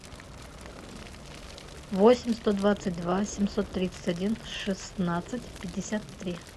восемь сто двадцать два семьсот тридцать один шестнадцать пятьдесят три